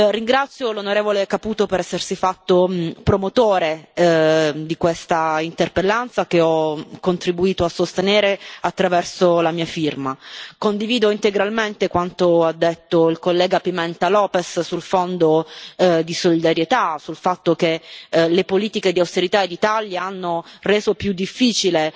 Ringrazio l'onorevole Caputo per essersi fatto promotore di questa interpellanza, che ho contribuito a sostenere attraverso la mia firma. Condivido integralmente quanto ha detto il collega Pimenta Lopes sul Fondo di solidarietà, cioè sul fatto che le politiche di austerità e di tagli hanno reso più difficile